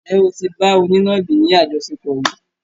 Ǹjẹ́ o tí bá onínàbì ni àjọṣepọ̀ rí?